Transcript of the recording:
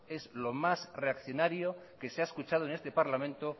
es lo más reaccionario que se ha escuchado en este parlamento